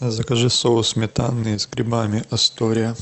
закажи соус сметанный с грибами астория